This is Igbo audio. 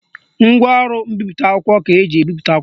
Ngwaọrụ mbipụta akwụkwọ ka eji ebipụta akwụkwọ